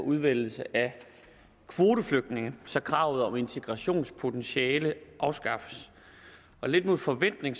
udvælgelse af kvoteflygtninge så kravet om integrationspotentiale afskaffes og lidt mod forventning